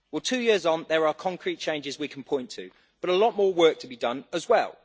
Two years on, there are concrete changes we can point to, but a lot more work to be done as well.